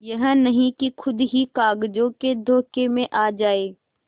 यह नहीं कि खुद ही कागजों के धोखे में आ जाए